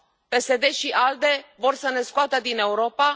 PSD și ALDE vor să ne scoată din Europa.